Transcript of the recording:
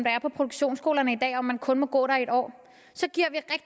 er på produktionsskolerne i dag om at man kun må gå der i en år så giver